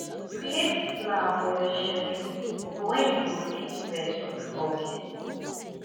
create plan for your schedule for when you go fit rest or do hobbies